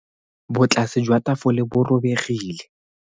Botlase jwa tafole bo robegile.